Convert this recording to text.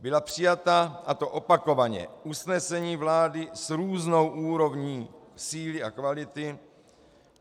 Byla přijata, a to opakovaně, usnesení vlády s různou úrovní síly a kvality.